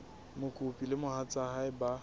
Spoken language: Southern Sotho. mokopi le mohatsa hae ba